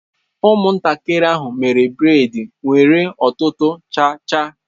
Ụmụntakịrị ahụ mere braid nwere ọtụtụ cha cha.